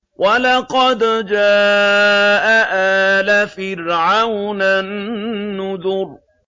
وَلَقَدْ جَاءَ آلَ فِرْعَوْنَ النُّذُرُ